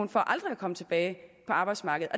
for aldrig at komme tilbage på arbejdsmarkedet